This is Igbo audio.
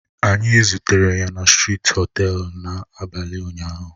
Anyị zutere ya na strịti họtelu l n'abalị ụnyahụ